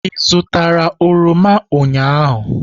Ị zụtara oroma ụnyahụ?